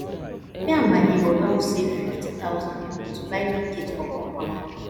me and my nebor don save fifty thousand naira to buy big gate for compound